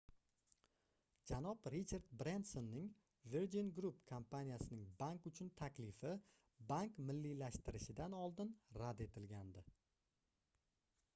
janob richard brensonning virgin group kompaniyasining bank uchun taklifi bank milliylashtirilishidan oldin rad etilgandi